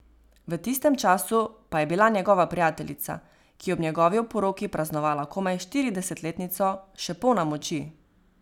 V tistem času pa je bila njegova prijateljica, ki je ob njegovi oporoki praznovala komaj štiridesetletnico, še polna moči.